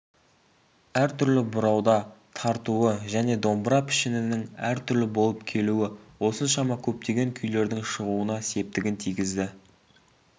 әртүрлі бұрауда тартуы және домбыра пішінінің әртүрлі болып келуі осыншама көптеген күйлердің шығуына септігін тигізді